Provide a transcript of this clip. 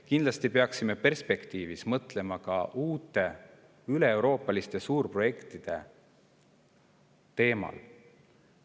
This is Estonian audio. Kindlasti peaksime perspektiivis mõtlema ka uute üleeuroopaliste suurprojektide teemale.